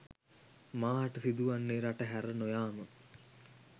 මාහට සිදුවන්නේ රට හැර නොයාම